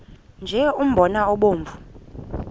nje umbona obomvu